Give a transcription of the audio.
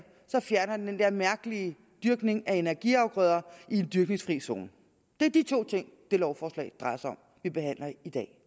fjerner det den mærkelige dyrkning af energiafgrøder i en dyrkningsfri zone det er de to ting det lovforslag vi behandler i dag